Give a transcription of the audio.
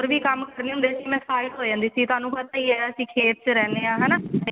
ਵੀ ਕੰਮ ਕਰਨੇ ਹੁੰਦੇ ਸੀ ਮੈਂ tired ਹੋ ਜਾਂਦੀ ਸੀ ਥੋਨੂੰ ਪਤਾ ਹੀ ਹੈ ਅਸੀਂ ਖੇਤ ਚ ਰਹਿੰਨੇ ਆਂ ਹਨਾ